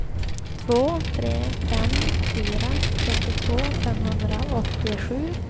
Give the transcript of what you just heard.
två tre fem fyra trettiotvå femhundraåttiosju